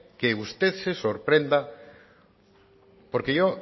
que usted se sorprenda porque yo